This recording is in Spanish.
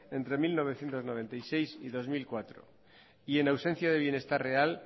entre mil novecientos noventa y seis y dos mil cuatro y en ausencia de bienestar real